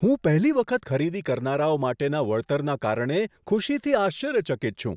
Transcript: હું પહેલી વખત ખરીદી કરનારાઓ માટેના વળતરના કારણે ખુશીથી આશ્ચર્યચકિત છું.